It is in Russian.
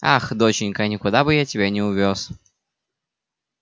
ах доченька никуда бы я тебя не увёз